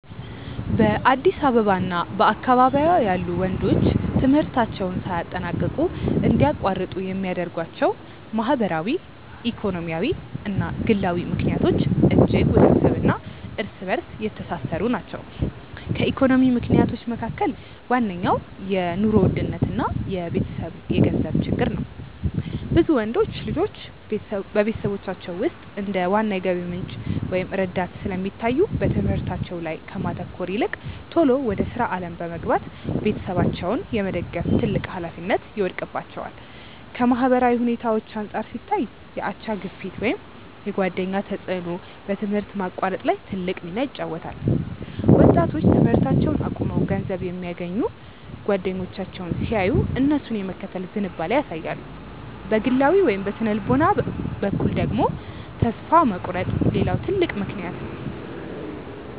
በአዲስ አበባ እና በአካባቢዋ ያሉ ወንዶች ትምህርታቸውን ሳያጠናቅቁ እንዲያቋርጡ የሚያደርጓቸው ማህበራዊ፣ ኢኮኖሚያዊ እና ግላዊ ምክንያቶች እጅግ ውስብስብ እና እርስ በእርስ የተሳሰሩ ናቸው። ከኢኮኖሚ ምክንያቶች መካከል ዋነኛው የኑሮ ውድነት እና የቤተሰብ የገንዘብ ችግር ነው። ብዙ ወንዶች ልጆች በቤተሰቦቻቸው ውስጥ እንደ ዋና የገቢ ምንጭ ወይም ረዳት ስለሚታዩ፣ በትምህርታቸው ላይ ከማተኮር ይልቅ ቶሎ ወደ ሥራ ዓለም በመግባት ቤተሰባቸውን የመደገፍ ትልቅ ኃላፊነት ይወድቅባቸዋል። ከማህበራዊ ሁኔታዎች አንጻር ሲታይ፣ የአቻ ግፊት ወይም የጓደኛ ተጽዕኖ በትምህርት ማቋረጥ ላይ ትልቅ ሚና ይጫወታል። ወጣቶች ትምህርታቸውን አቁመው ገንዘብ የሚያገኙ ጓደኞቻቸውን ሲያዩ፣ እነሱን የመከተል ዝንባሌ ያሳያሉ። በግላዊ ወይም በሥነ-ልቦና በኩል ደግሞ፣ ተስፋ መቁረጥ ሌላው ትልቅ ምክንያት ነው።